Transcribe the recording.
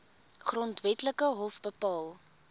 grondwetlike hof bepaal